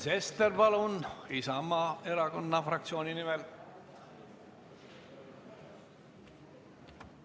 Sven Sester, palun, Isamaa erakonna fraktsiooni nimel!